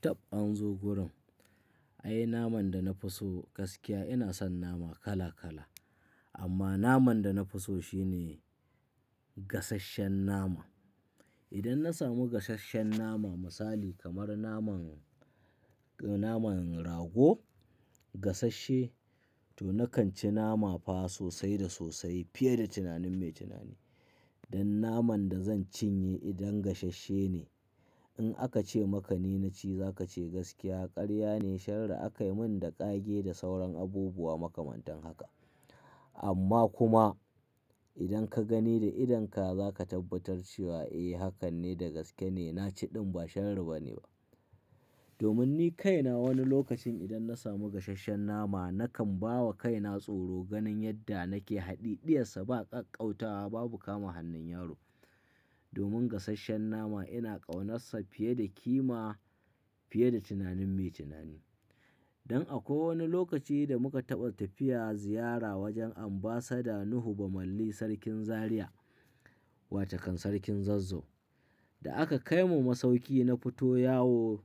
Tab an zo gurin. Ai naman da na fi so gaskiya ina son nama kala kala amma naman da na fi so shine gasasshen nama. Idan na samu gasasshen nama misali kamar naman, naman rago gasasshe to na kan ci nama fa sosai da sosai fiye da tunanin mai tunani. Dan naman da zan cinye idan gasasshe ne in aka ce maka ni na ci za ka ce gaskiya karya ne shara aka yi min da ƙage da sauran abubuwa makamantan haka. Amma kuma idan ka gani da idonka za ka tabbatar cewa eh hakan ne da gaske ne na ci ɗin ba shara bane ba. Domin ni kaina wani lokacin idan na samu gasasshen nama na kan bawa kaina tsoro ganin yadda nake haɗi. Diyarsa ba ƙanƙauta babu kama hannun yaro. Domin gasasshen nama ina ƙaunarsa fiye da kima fiye da tunanin mai tunani. Dan akwai wani lokaci da muka taɓa tafiya ziyara wajen Ambassador Nuhu Bamalli Sarkin Zariya wace kan Sarkin Zazzau da aka kai mu masauki na fito yawo